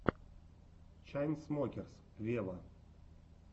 чайнсмокерс вево